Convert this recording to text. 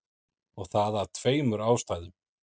Og það af tveimur ástæðum.